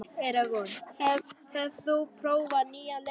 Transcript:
Eragon, hefur þú prófað nýja leikinn?